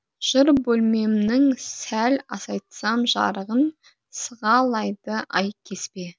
жыр бөлмемнің сәл азайтсам жарығын сығалайды ай кезбе